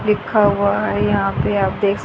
लिखा हुआ है यहां पर आप देख--